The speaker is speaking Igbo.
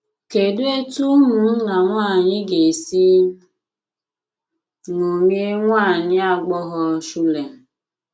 Kedụ etú ụmụnna nwanyị ga esi ṅomie nwa agbọghọ Shulem?